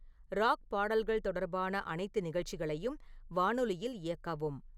rock பாடல்கள் தொடர்பான அனைத்து நிகழ்ச்சிகளையும் வானொலியில் இயக்கவும்